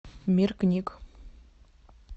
мир книг